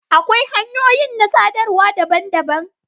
Akwai hanyoyin na sadarwa daban-daban.